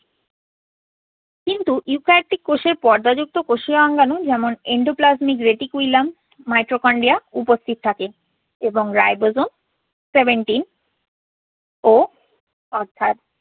কিন্তু eukaryotic কোষের পর্দাযুক্ত কোষীয় অঙ্গাণু যেমন endoplasmic reticulum, mitochondria উপস্থিত থাকে। এবং ribosome seventy ও অর্থাৎ